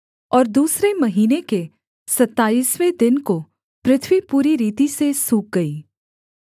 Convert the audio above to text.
और दूसरे महीने के सताईसवें दिन को पृथ्वी पूरी रीति से सूख गई